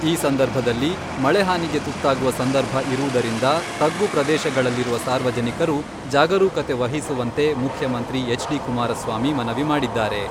ಈ ಸಂದರ್ಭದಲ್ಲಿ ಮಳೆ ಹಾನಿಗೆ ತುತ್ತಾಗುವ ಸಂದರ್ಭ ಇರುವುದರಿಂದ ತಗ್ಗು ಪ್ರದೇಶಗಳಲ್ಲಿರುವ ಸಾರ್ವಜನಿಕರು ಜಾಗರುಕತೆ ವಹಿಸುವಂತೆ ಮುಖ್ಯಮಂತ್ರಿ ಹೆಚ್ ಡಿ ಕುಮಾರಸ್ವಾಮಿ ಮನವಿ ಮಾಡಿದ್ದಾರೆ.